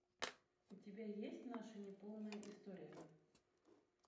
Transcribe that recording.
у тебя есть наша неполная история